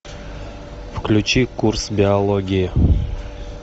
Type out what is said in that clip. включи курс биологии